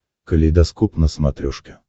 калейдоскоп на смотрешке